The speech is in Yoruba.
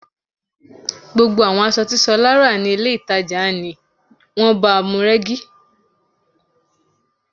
Gbogbo àwọn aṣọ tí Ṣọlá rà ní ilé-ìtàjàni wọ́n báamu rẹ́gí